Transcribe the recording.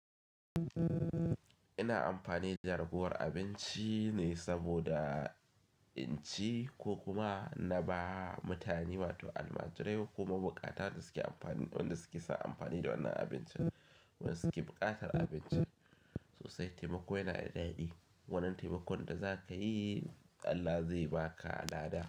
Ina amfani da jagorar abinci ne saboda in ci ko kuma na ba mutane, wato almajirai ko ma bukata waɗanda suke sa amfani da wannan abincin. Wanda suke buƙatar abinci sosai. Taimako yana da daɗi. Wannan taimakon da za ka yi Allah zai ba ka lada.